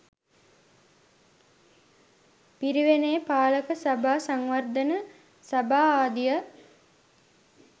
පිරිවෙනේ පාලක සභා, සංවර්ධන සභා ආදිය